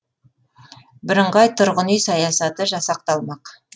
бірыңғай тұрғын үй саясаты жасақталмақ